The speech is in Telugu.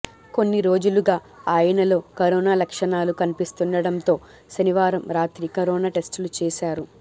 కొన్ని రోజులుగా ఆయనలో కరోనా లక్షణాలు కనిపిస్తుండటంతో శనివారం రాత్రి కరోనా టెస్టులు చేశారు